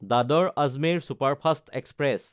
দাদৰ–আজমেৰ superfast express